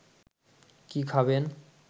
কি খাবেন